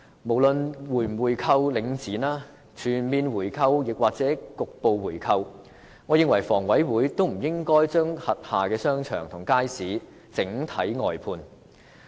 無論是否購回領展、全面回購或局部回購，我認為房委會也不應該將轄下商場和街市整體外判。